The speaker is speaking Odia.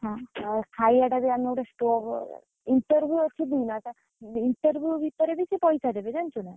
ହଁ ଆଉ ଖାଇବା ଟା ବି ଆମେ ଗୋଟେ stove interview ଅଛି ଦିନେ, interview ଭିତରେ ବି ପଇସା ଦେବେ ଜାଣିଛୁ ନା।